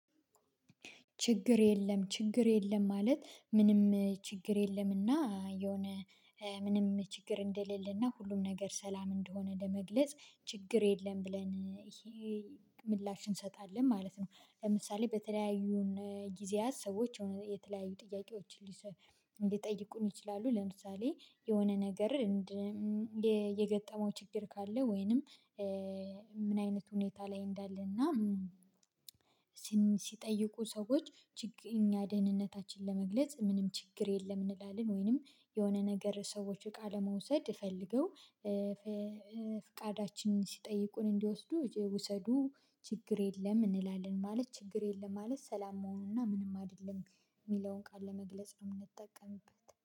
ችግር የለም ችግር የለም ማለት ምንም ችግር የለምና የሆነ ምንም ችግር እንደሌለና ሁሉም ነገር ሰላም እንደሆነ ለመግለጽ ችግር የለም ብለን ይሄ ምላሽ እንሰጣለን ማለት ነው። ለምሳሌ በተለያዩን ጊዜያት ሰዎች የተለያዩ ጥያቄዎችን ሊጠይቁን ይችላሉ ለምሳሌ የሆነ ነገር። የገጠመው ችግር ካለ ወይንም ምን አይነት ሁኔታ ላይ እንዳለ እና። ሲጠይቁ ሰዎች ደህንነታችን ለመግለጽ ምንም ችግር የለም እንላለን። ወይንም የሆነ ነገር ሰዎች እቃ ለመውሰድ ፈልገው። ፍቃዳችን ሲጠይቁን እንዲወስዱ ውሰዱ ችግር የለም እንላለን። ማለት ችግር የለም ማለት ሰላም መሆኑና ምንም አይደለም የሚለውን ቃል ለመግለጽ ነው የምንጠቀምበት